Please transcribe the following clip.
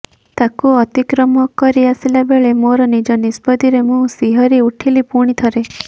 ତାକୁ ଅତିକ୍ରମ କରି ଆସିଲା ବେଳେ ମୋର ନିଜ ନିଷ୍ପତ୍ତିରେ ମୁଁ ଶିହରି ଉଠିଲି ପୁଣିଥରେ